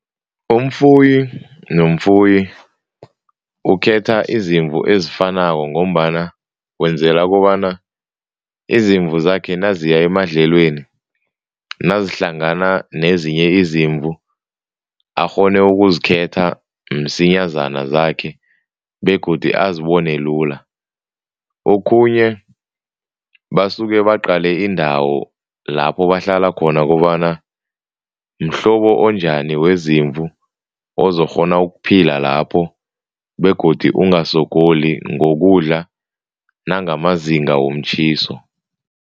Umfuyi nomfuyi ukhetha izimvu ezifanako ngombana wenzela kobana izimvu zakhe naziya emadlelweni, nazihlangana nezinye izimvu, akghone ukuzikhetha msinyazana zakhe begodu ayibone lula. Okhunye basuke baqale indawo lapho bahlala khona kobana mhlobo onjani wezimvu ozokghona ukuphila lapho begodu ungasogoli ngokudla nangamazinga womtjhiso.